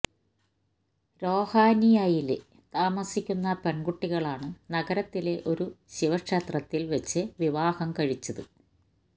രോഹാനിയയില് താമസിക്കുന്ന പെണ്കുട്ടികളാണ് നഗരത്തിലെ ഒരു ശിവക്ഷേത്രത്തില് വെച്ച് വിവാഹം കഴിച്ചത്